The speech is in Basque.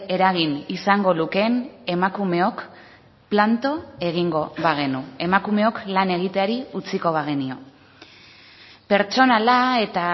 eragin izango lukeen emakumeok planto egingo bagenu emakumeok lan egiteari utziko bagenio pertsonala eta